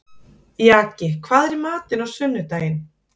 Jaki, hvað er í matinn á sunnudaginn?